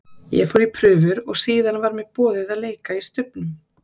Ég fór í prufur og síðan var mér boðið að leika í Stubbnum.